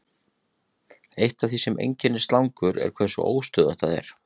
Eitt af því sem einkennir slangur er hversu óstöðugt það er.